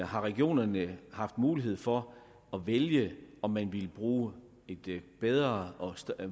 har regionerne haft mulighed for at vælge om man ville bruge et bedre og